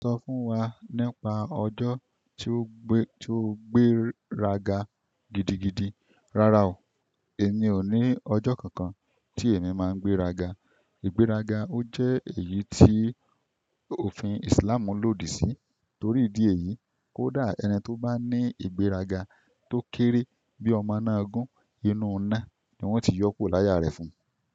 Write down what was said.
Sọ fún wa nípa ọjọ́ tí ó gbé, tí ó gbé raga gidigidi? Rárá o, èmi ò ní ọjọ́ kankan tí èmi máa ń gbé raga. Ìgbéraga ó jẹ́ èyí tí òfin Islamu lòdì sí, torí ìdí èyí, kódà ẹni tó bá ní ìgbéraga tó kéré bí ọmọ náà gún inú ọ̀nà ni wọ́n ti yọ́kòro láya rẹ̀ fún un.